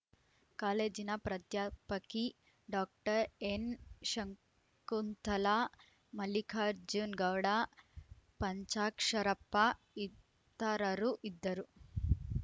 ಕಾಲೇಜಿನ ಪ್ರಾಧ್ಯಾಪಕಿ ಡಾಕ್ಟರ್ ಎನ್‌ಶಂಕುಂತಲಾ ಮಲ್ಲಿಕಾರ್ಜುನ ಗೌಡ ಪಂಚಾಕ್ಷರಪ್ಪ ಇತರರು ಇದ್ದರು